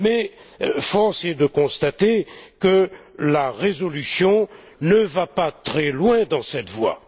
Mais force est de constater que la résolution ne va pas très loin dans cette voie.